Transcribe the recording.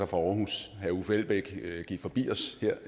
fra aarhus herre uffe elbæk gik forbi os